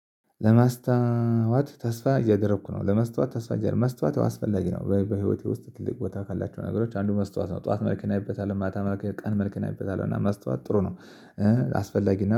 ለመስታወት ተስፋ እያደረኩ ነው ለመስታወት ተስፋ እያደረኩ ነው መስታወት አስፈላጊ ነው በህይወቴ ውስጥ ትልቅ ቦታ ካላቸው ነገሮች አንዱ መስታወት ነው ጠዋት መልክ እናይበታለን ማታ መልክ ቀን መልክ እናይበታለን እና መስታወት ጥሩ ነው። አስፈላጊ